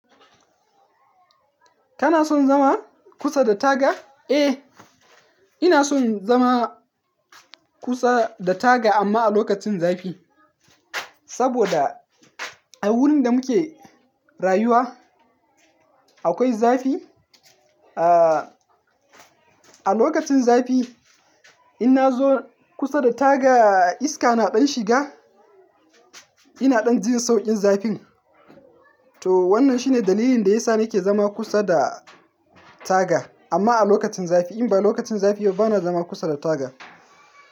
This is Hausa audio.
Kana son zama kusa da taga? Eh, ina son zama kusa da taga amma a lokacin zafi. Saboda a wurin da muke rayuwa akwai zafi. Ah, a lokacin zafi in na zo kusa da taga iska na ɗan shiga, ina ɗan jin sauƙin zafin. To wannan shine dalilin da yasa nake zama kusa da taga amma a lokacin zafi. In ba lokacin zafi yau bana zama kusa da taga.